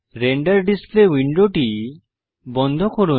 render display উইন্ডোটি বন্ধ করুন